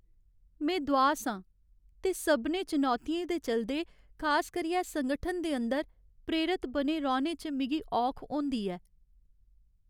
में दुआस आं ते सभनें चुनौतियें दे चलदे, खास करियै संगठन दे अंदर, प्रेरत बने रौह्ने च मिगी औख होंदी ऐ।